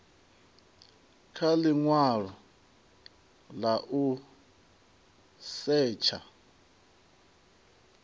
kha linwalo la u setsha